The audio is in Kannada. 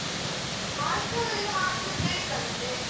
Mask ಇನ್ನು ಹಾಕ್ಲೇಬೇಕಂತೆ.